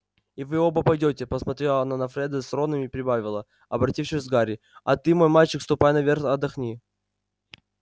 и вы оба пойдёте посмотрела она на фреда с роном и прибавила обратившись к гарри а ты мой мальчик ступай наверх отдохни